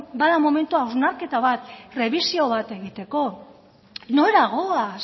bada momentua hausnarketa bat prebisio bat egiteko nora goaz